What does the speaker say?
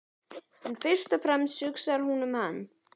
En fyrst og fremst hugsar hún um hann.